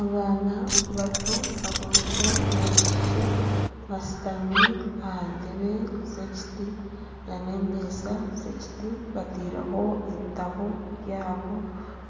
Abaana bato aboojo n'abaishiki bashutami aha ntebe z'ekiti n'emeeza z'ekiti bataireho ebitabo byabo